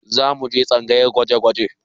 Za mu je tsangayar gwaje-gwaje